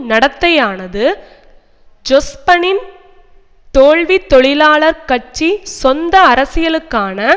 நடத்தையானது ஜொஸ்பனின் தோல்வி தொழிலாளர் கட்சி சொந்த அரசியலுக்கான